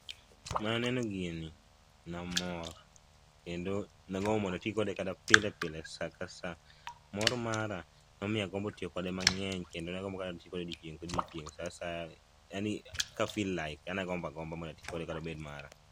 mana neno gini namor kendo nagombo mana mondo ati kode pilepile saa ka saa mor mara nomiyo agombo tiyo kode mang'eny kendo nagombo mondo ati kode odiochieng' kodiochieng' ka feel like yani agomba gomba mondo ati kode kata obed mara.